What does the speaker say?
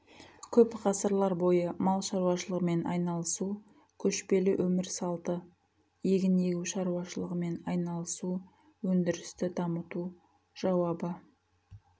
көп ғасырлар бойы мал шаруашылығымен айналысу көшпелі өмір салты егін егу шаруашылығымен айналысу өндірісті дамыту жауабы